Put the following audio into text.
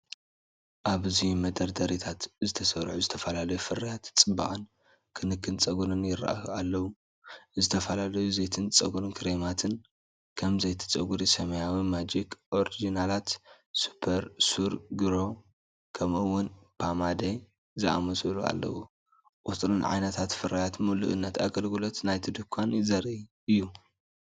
ኣብዚ መደርደሪታት ዝተሰርዑ ዝተፈላለዩ ፍርያት ጽባቐን ክንክን ጸጉርን ይራኣዩ ኣለዉ። ዝተፈላለዩ ዘይቲ ጸጉርን ክሬማትን ከም "ዘይቲ ጸጉሪ"፡ "ሰማያዊ ማጂክ ኦሪጅናላት ሱፐር ሱር ግሮ" ከምኡ'ውን "ፖማዴ" ዝኣመሰሉ ኣለዉ። ቁጽርን ዓይነትን ፍርያት ምሉእነት ኣገልግሎት ናይቲ ድኳን ዘርኢ እዩ።